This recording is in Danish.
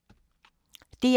DR1